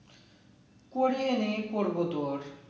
করি নি করবো তোর